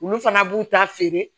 Olu fana b'u ta feere